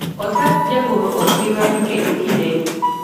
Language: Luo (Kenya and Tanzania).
osach jagoro ok bii ng'adi kendo kinde ni